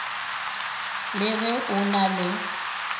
le ge a na le